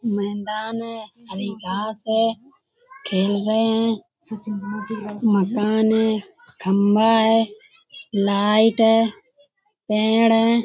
मैदान है हरी घास है। खेल रहे हैं मकान है खम्बा है लाइट है पेड़ हैं।